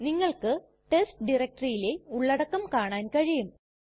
നിങ്ങൾക്ക് ടെസ്റ്റ് ഡയറക്ടറിയിലെ ഉള്ളടക്കം കാണാൻ കഴിയും